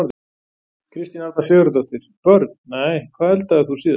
Kristín Arna Sigurðardóttir Börn: Nei Hvað eldaðir þú síðast?